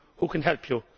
Who can help you?'